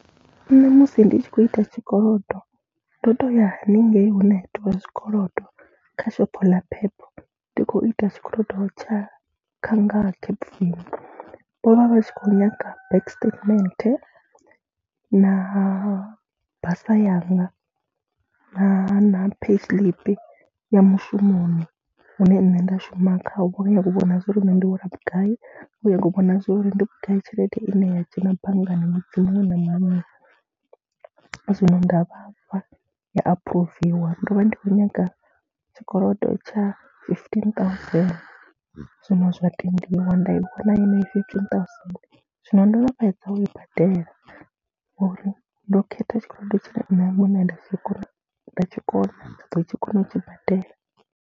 Nṋe musi ndi tshi khou ita tshikolodo ndo tou ya haningei hune ha itiwa zwikolodo kha shopho ḽa PEP, ndi khou ita tshikolodo tsha nga Capfin. Vho vha vha tshi khou nyaga bank statement na basa yanga na na payslip ya mushumoni hune nṋe nda shuma khawo. Vha nyaga u vhona zwo ri nṋe ndi hola vhugai, vha nyaga u vhona zwo ri ndi vhugai tshelede ine ya dzhena banngani na dziṅwe , zwino nda vha fha ya aphuruviawa ngori ndo vha ndi khou nyaga tshikolodo tsha fifteen thousand, zwino zwa tendiwa nda i vhona yenei fifteen thousand. Zwino ndo no fhedza u i badela ngori ndo khetha tshikolodo tshine nṋe muṋe nda tshi kona, nda tshi kona, nda ḓo tshi kona u tshi badela.